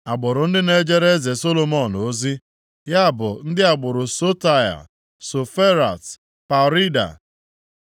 Agbụrụ ndị na-ejere eze Solomọn ozi, ya bụ ndị agbụrụ Sotai, Soferat, Perida,